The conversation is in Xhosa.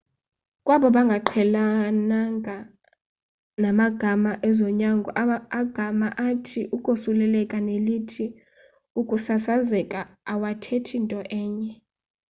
kwabo bangaqhelekanga namagama ezonyango agama athi ukosuleleka nelithi ukusasazeka awathethi nto enye